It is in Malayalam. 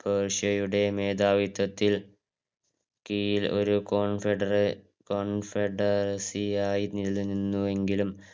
പേർഷ്യയുടെ മേധാവിത്വത്തിൽ കീഴില ഒരു confedere~confederacy ആയി നിലനിന്നുവെങ്കിലും,